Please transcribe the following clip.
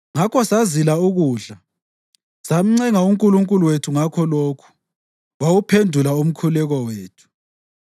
Ngakho sazila ukudla, samncenga uNkulunkulu wethu ngakho lokhu, wawuphendula umkhuleko wethu.